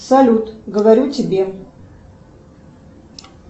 салют говорю тебе